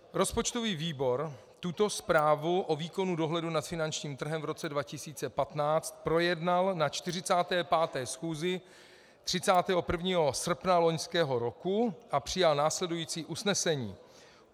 Rozpočtový výbor tuto zprávu o výkonu dohledu nad finančním trhem v roce 2015 projednal na 45. schůzi 31. srpna loňského roku a přijal následující usnesení: